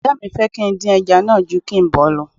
Ìyá mi fẹ́ kí n dín ẹja náà ju kí n bọ̀ ọ́ lọ